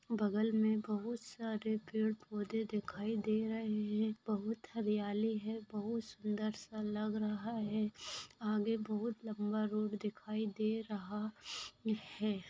बगल में बहुत सारे पेड़ पौधे दिखाई दे रहे हैं | बहुत हरियाली है बहुत सुन्दर सा लग रहा है आगे बहुत लम्बा रोड दिखाई दे रहा है |